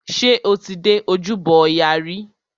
Ṣé o ti dé ojúbọ ọya rí?